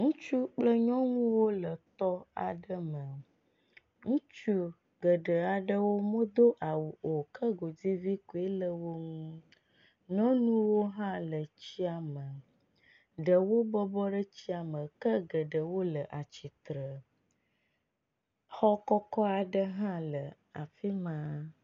Ŋutsu kple nyɔnuwo le tɔ aɖe me. Ŋutsu geɖe aɖewo medo awu o ke godivi koe le wo nu. nyɔnuwo hã le tsia me. Ɖewo bɔbɔ ɖe tsia me ke ɖewo le atsitre. Xɔ kɔkɔ aɖe hã le afi ma.